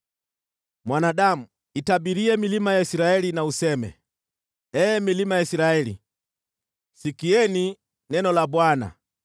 “Mwanadamu, itabirie milima ya Israeli na useme, ‘Ee milima ya Israeli, sikieni neno la Bwana .